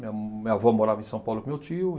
Minha minha avó morava em São Paulo com meu tio e.